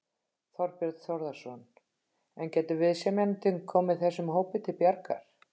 Þorbjörn Þórðarson: En getur viðsemjandinn komið þessum hópi til bjargar?